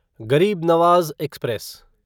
गरीब नवाज एक्सप्रेस